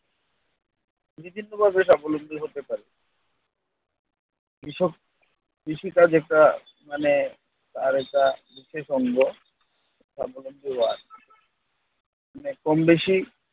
বিভিন্নভাবে স্বাবলম্বী হতে পারে। কৃষক কৃষিকাজে একটা মানে তার একটা মানে কম বেশি।